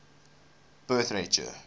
birth rate year